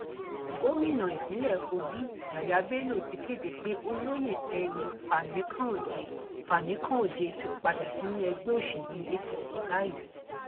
gomina ìpínlẹ kogi yah yahy bello ti kéde pé olóyè fẹmi fanikanode fanikanode ti padà sínú ẹgbẹ òsèlú apc báyìí